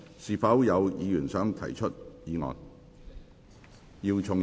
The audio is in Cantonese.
是否有議員想動議議案？